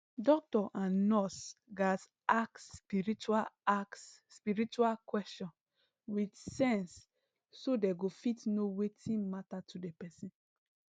doctor and nurse gatz ask spiritual ask spiritual question with sense so dey go fit know wetin matter to the person